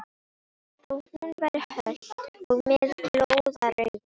Þó hún væri hölt og með glóðarauga.